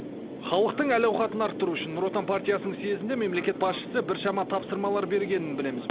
халықтың әл ауқатын арттыру үшін нұр отан партиясының съезінде мемлекет басшысы біршама тапсырмалар бергенін білеміз